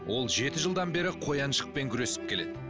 ол жеті жылдан бері қояншықпен күресіп келеді